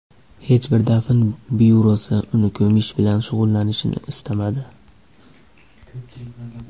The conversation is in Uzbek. Hech bir dafn byurosi uni ko‘mish bilan shug‘ullanishni istamadi.